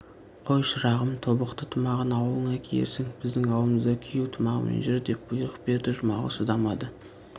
қой шырағым тобықты тымағын аулыңда киерсің біздің аулымызда күйеу тымағымен жүр деп бұйрық берді жұмағұл шыдамады